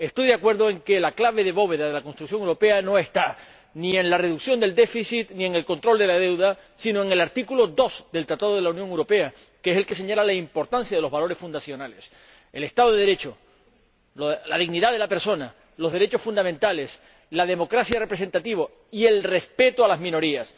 Estoy de acuerdo en que la clave de bóveda de la construcción europea no está ni en la reducción del déficit ni en el control de la deuda, sino en el artículo 2 del Tratado de la Unión Europea, que es el que señala la importancia de los valores fundacionales el Estado de Derecho, la dignidad de la persona, los derechos fundamentales, la democracia representativa y el respeto a las minorías.